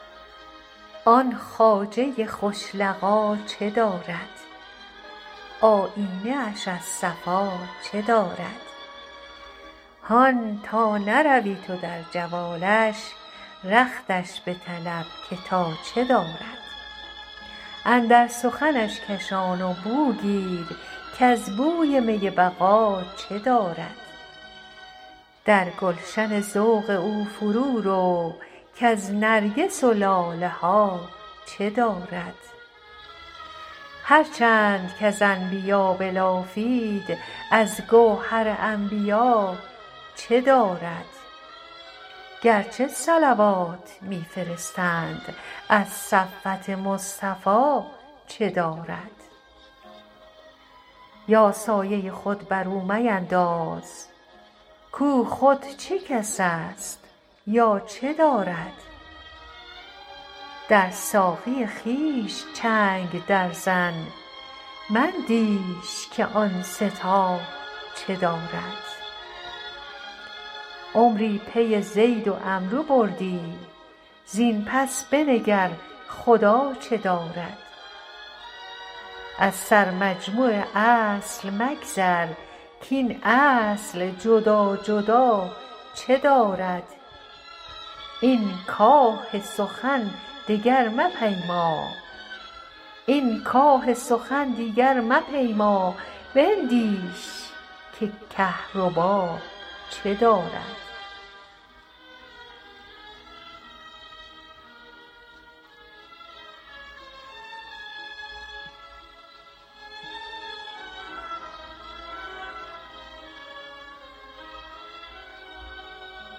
آن خواجه خوش لقا چه دارد آیینه اش از صفا چه دارد هان تا نروی تو در جوالش رختش بطلب که تا چه دارد اندر سخنش کشان و بو گیر کز بوی می بقا چه دارد در گلشن ذوق او فرورو کز نرگس و لاله ها چه دارد هر چند کز انبیا بلافید از گوهر انبیا چه دارد گرچه صلوات می فرستند از صفوت مصطفی چه دارد یا سایه خود بر او مینداز کو خود چه کس است یا چه دارد در ساقی خویش چنگ درزن مندیش که آن سه تا چه دارد عمری پی زید و عمرو بودی زین پس بنگر خدا چه دارد از سرمجموع اصل مگذر کاین اصل جدا جدا چه دارد این کاه سخن دگر مپیما بندیش که کهربا چه دارد